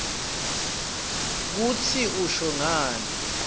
kutsi usho ngani